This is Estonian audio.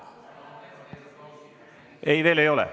Ei, veel ei ole.